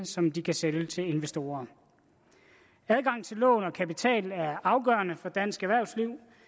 som de kan sælge til investorer adgang til lån og kapital er afgørende for dansk erhvervsliv